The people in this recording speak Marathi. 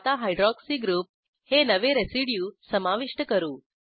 आता हायड्रॉक्सी ग्रुप हे नवे रेसिड्यू समाविष्ट करू